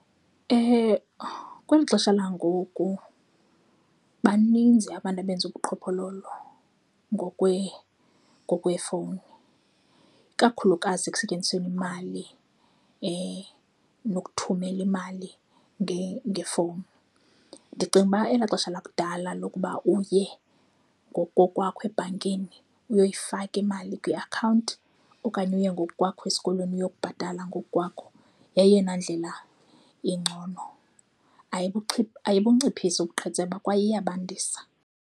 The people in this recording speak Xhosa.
kweli xesha langoku baninzi abantu abenza ubuqhophololo ngokweefowuni, ikakhulukazi ekusetyenzisweni imali nokuthumela imali ngefowuni. Ndicinga uba elaa xesha lakudala lokuba uye ngokokwakho ebhankini uyoyifaka imali kwiakhawunti okanye uye ngokukwakho esikolweni uyobabhatala ngokwakho yeyona ndlela ingcono. Ayibunciphisa ubuqhetseba kwaye iyabandisa.